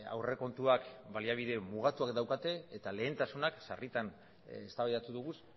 aurrekontuak baliabide mugatuak daukate eta lehentasunak sarritan eztabaidatu dugu